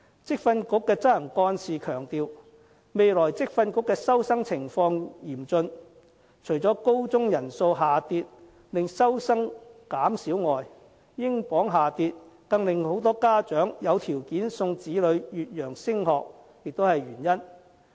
職訓局的執行幹事強調，未來職訓局的收生情況嚴峻，除了高中人數下跌令收生減少外，英鎊下跌令更多家長有條件送子女越洋升學也是原因。